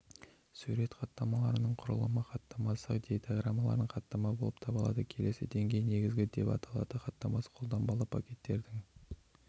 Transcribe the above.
сурет хаттамаларының құрылымы хаттамасы дейтаграммалық хаттама болып табылады келесі деңгей негізгі деп аталады хаттамасы қолданбалы пакеттердің